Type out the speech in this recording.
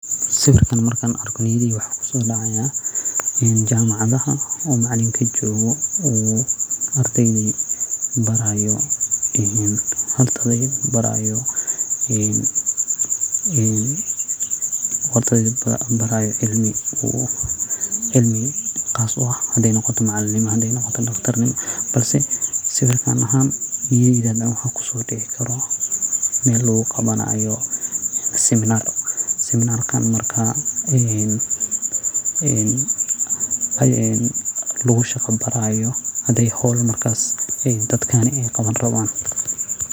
Sawirkan markan arko waxa maskaxdeyda kusodacaya jamacadaha macaliminta jogoo oo ardeyda barayo cilmi taso ah hadey noqoto daqtarnimo hadey noqoto macalinimo balse sawirkan ahaan waxa niyadeyda kusodacayo meel luguqawanaayo siminar oo marka een oo lugushaqa barayo hadi marka ey dadka howl qawanayan.